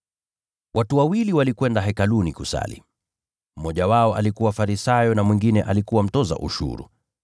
“Watu wawili walikwenda Hekaluni kusali, mmoja wao alikuwa Farisayo na mwingine alikuwa mtoza ushuru.